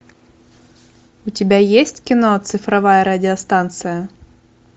у тебя есть кино цифровая радиостанция